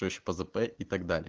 это